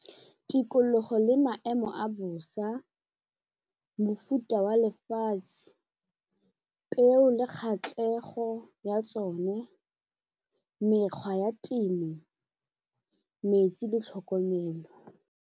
Tikologo le maemo a bosa, mofuta wa lefatshe, peo le kgatlhego ya tsone, mekgwa ya temo, metsi le tlhokomelo.